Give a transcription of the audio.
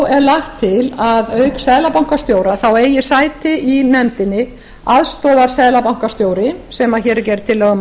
er lagt til að auk seðlabankastjóra eigi sæti í nefndinni aðstoðarseðlabankastjóri sem hér er gerð tillaga um að